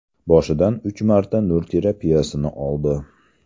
Boshidan uch marta nur terapiyasini oldi.